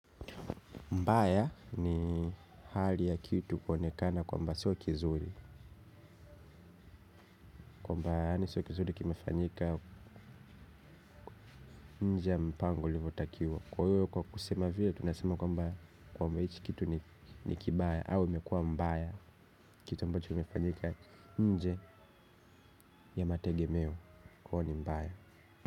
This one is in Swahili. Mbaya ni hali ya kitu kuonekana kwamba sio kizuri. Kwamba yaani sio kizuri kimefanyika nje ya mpango ulivo takiwa. Kwa hiyo kwa kusema vile tunasema kwamba kwamba hichi kitu ni ni kibaya. Au imekua mbaya kitu ambacho kimefanyika nje ya mategemeo kwa hiyo ni mbaya.